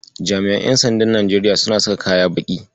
Jami'an ƴan sandan Najeriya suna saka baƙin kaya.